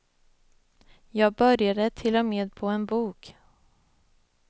Jag började till och med på en bok.